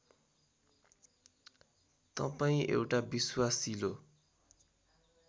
तपाईँ एउटा विश्वासिलो